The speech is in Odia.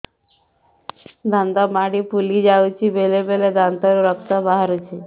ଦାନ୍ତ ମାଢ଼ି ଫୁଲି ଯାଉଛି ବେଳେବେଳେ ଦାନ୍ତରୁ ରକ୍ତ ବାହାରୁଛି